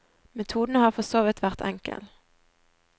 Metoden har for så vidt vært enkel.